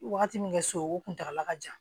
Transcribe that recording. Wagati min kɛ so o kuntagala ka jan